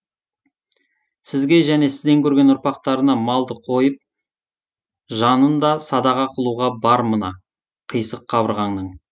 сізге және сізден көрген ұрпақтарына малды қойып жанын да садаға қылуға бар мына қисық қабырғаңның